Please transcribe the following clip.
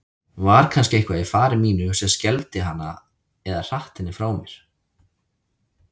Var kannski eitthvað í fari mínu sem skelfdi hana eða hratt henni frá mér?